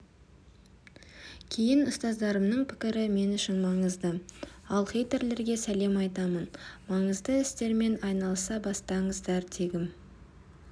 кейін ұстаздарымның пікірі мен үшін маңызды ал хейтерлерге сәлем айтамын маңызды істермен айналыса бастасаңыздар дегім